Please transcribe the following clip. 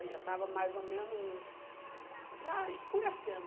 já estava mais ou menos, já escurecendo.